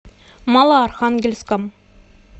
малоархангельском